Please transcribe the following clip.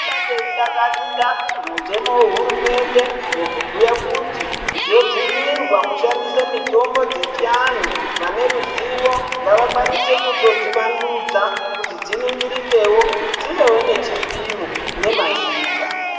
Bateidakarira mutemo wehurumende wekubhuya kuti zvobvumirwa kushandise mutombo dzechivanhu vane ruzivo ngavakwanise kutodzivandudza kuti dziningirikewo dzivewo nechipimo nemazita.